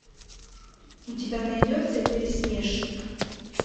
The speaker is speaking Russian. у тебя найдется пересмешник